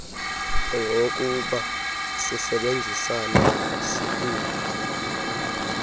ungowokuba sisebenzisane sibumba